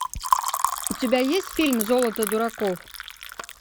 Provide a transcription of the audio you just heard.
у тебя есть фильм золото дураков